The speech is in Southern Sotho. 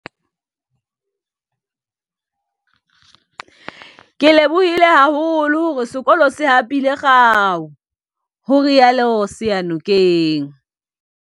"Ke lebohile haholo hore sekolo se hapile kgao," ho rialo Seyanokeng